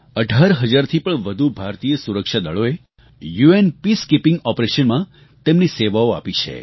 18 હજારથી પણ વધુ ભારતીય સુરક્ષાદળોએ યુએન પીસકીપિંગ ઓપરેશન્સ માં તેમની સેવાઓ આપી છે